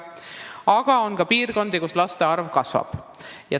Aga on ka piirkondi, kus laste arv kasvab.